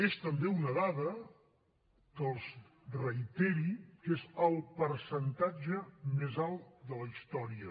és també una dada que els reiteri que és el percentatge més alt de la història